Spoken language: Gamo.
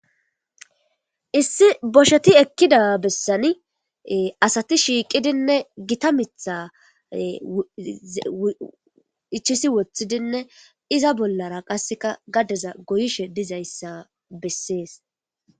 Issi bosheti ekkida bessani asati shiiqidinne gita miitha ichiishi woththidinne iza bollara qasseka gadeza goyishe dizayssa bessees.